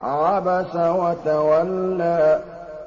عَبَسَ وَتَوَلَّىٰ